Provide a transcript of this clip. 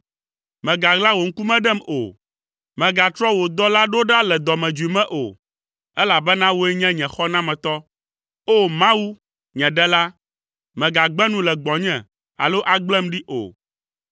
Mègaɣla wò ŋkume ɖem o, mègatrɔ wò dɔla ɖo ɖa le dɔmedzoe me o, elabena wòe nye nye xɔnametɔ. O! Mawu, nye Ɖela, mègagbe nu le gbɔnye alo agblem ɖi o.